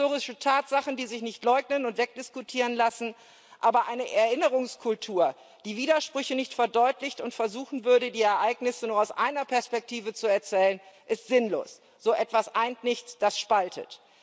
Es gibt historische Tatsachen, die sich nicht leugnen und wegdiskutieren lassen. Aber eine Erinnerungskultur, die Widersprüche nicht verdeutlicht und versuchen würde, die Ereignisse nur aus einer Perspektive zu erzählen, ist sinnlos. So etwas eint nichts, das spaltet.